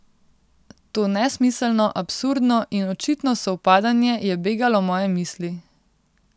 To nesmiselno, absurdno in očitno sovpadanje je begalo moje misli.